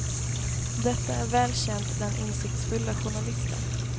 Detta är väl känt bland insiktsfulla journalister.